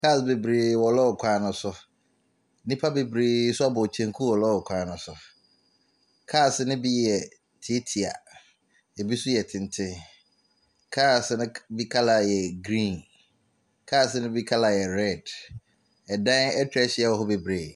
Car bebree wɔ lɔɔre kwan no so. Nnipa bebree nso abɔ kyenku wɔ lɔɔre kwan no so. Cars no bi tietia, ebi nso yɛ tente. Cars no bi k colour yɛ green. Cars no bi colour red. Ɛdan atwa ahyia hɔ bebree.